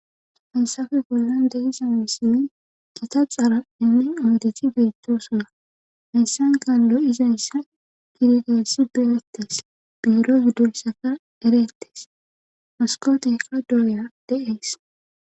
fansafe bollan deisa misin gita xaalainne oodethi bittosona heyssankan lo7izayssa kirigeessi biwetes biiro gudulsaka ereettes moskootekka dooya de7ees